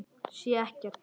Sé ekkert.